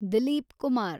Dilip Kumar